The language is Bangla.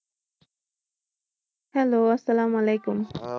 Hello আসসালাম আলাইকুম।